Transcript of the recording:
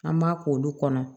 An b'a k'olu kɔnɔ